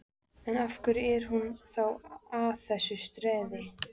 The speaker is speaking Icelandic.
En, af hverju er hún þá að þessu streði?